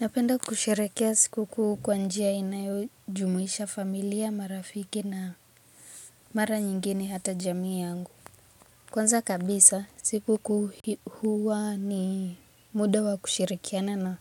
Napenda kusherehekea sikukuu kwa njia inayojumuisha familia, marafiki na mara nyingi ni hata jamii yangu. Kwanza kabisa sikukuu huwa ni muda wa kushirikiana na